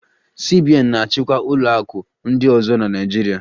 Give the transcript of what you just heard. CBN na-achịkwa ụlọ akụ ndị ọzọ na Naịjirịa